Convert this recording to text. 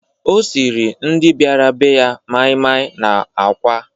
O siiri ndị bịara be ya maịmaị na àkwá.